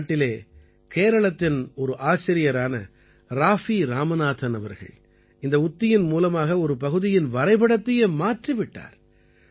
நம் நாட்டிலே கேரளத்தின் ஒரு ஆசிரியரான ராஃபீ இராமநாதன் அவர்கள் இந்த உத்தியின் மூலமாக ஒரு பகுதியின் வரைபடத்தையே மாற்றி விட்டார்